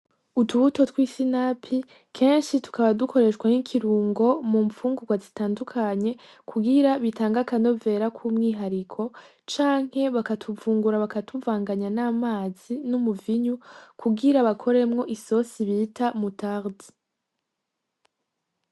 Utubuto tw’isinapi Kenshi tukaba dukoreshwa nk’ikirungo mumfungurwa zitandukanye ,kugira Bitange akanovera k’umwihariko , canke bakatuvungura bakatuvanganya n’amazi n’umuvinyu kugira bakoremwo isoni bita moutarde .